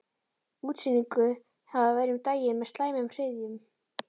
Útsynningur hafði verið um daginn með slæmum hryðjum.